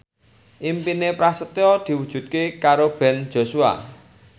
impine Prasetyo diwujudke karo Ben Joshua